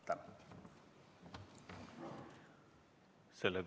Tänan!